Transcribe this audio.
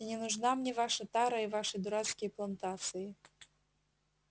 и не нужна мне ваша тара и ваши дурацкие плантации